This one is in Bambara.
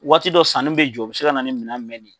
Waati dɔ sanni be jɔ, o bi se ka na ni minɛn mɛn ni ye